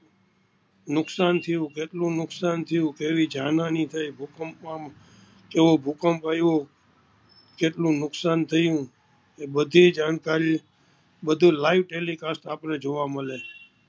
નુકસાન થયું કેટલું નુકસાન થયું, કેવી જાનહાનિ થઈ ભૂકંપ માં કેવો ભૂકંપ આવ્યો કેટલું નુકસાન થયું એ બધી જાણકારી બધુ livetelicast આપણે જોવા મળે